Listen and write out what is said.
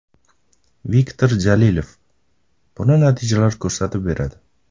Viktor Jalilov: - Buni natijalar ko‘rsatib beradi.